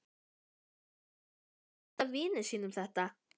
Ég hefi gaman af að glíma við samhverfu.